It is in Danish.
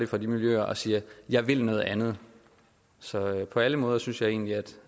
fra de miljøer og siger jeg vil noget andet så på alle måder synes jeg egentlig